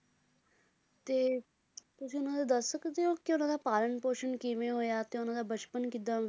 ਤੇ ਤੁਸੀਂ ਉਹਨਾਂ ਦਾ ਦੱਸ ਸਕਦੇ ਓ ਕਿ ਉਹਨਾਂ ਦਾ ਪਾਲਣ ਪੋਸ਼ਣ ਕਿਵੇਂ ਹੋਇਆ ਤੇ ਉਹਨਾਂ ਦਾ ਬਚਪਨ ਕਿਦਾਂ